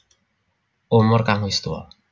Umur kang wis tuwa